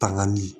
Tanganli